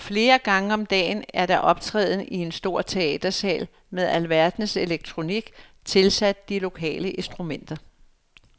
Flere gange om dagen er der optræden i en stor teatersal med alverdens elektronik tilsat de lokale instrumenter.